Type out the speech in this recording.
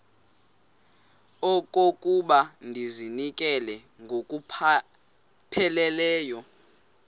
okokuba ndizinikele ngokupheleleyo